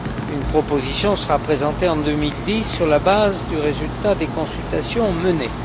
Une proposition sera présentée en 2010 sur la base du résultat des consultations menées.